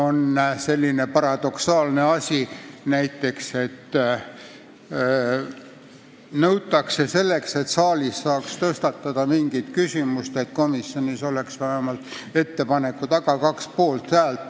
Näiteks on selline paradoksaalne nõue, et siin saalis mingi küsimuse tõstatamiseks peab komisjonis olema ettepaneku taga vähemalt kaks poolthäält.